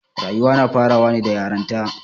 Rayuwa na farawa ne da yaranta.